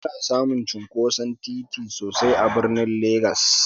Ana samun cinkoson titi sosai a birnin Legss.